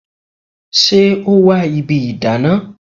Ṣé o wa ibi ìdáná?